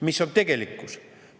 Mis on tegelikkus?